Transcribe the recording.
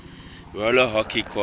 roller hockey quad